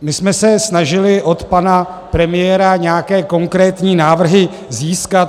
My jsme se snažili od pana premiéra nějaké konkrétní návrhy získat.